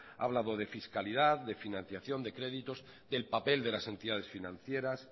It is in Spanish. ha hablado de fiscalidad de financiación de créditos del papel de las entidades financieras